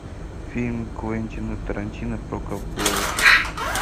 фильм квентина тарантино про ковбоев